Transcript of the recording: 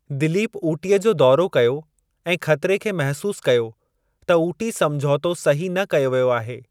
दिलीप ऊटीअ जो दौरो कयो ऐं ख़तरे खे महसूस कयो त ऊटी समझोतो सही न कयो वियो आहे।